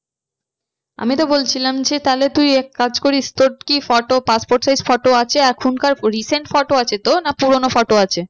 আমি তো বলছিলাম যে তাহলে তুই এক কাজ করিস তোর কি photo passport size photo আছে এখনকার recent photo আছে তো না পুরানো photo আছে?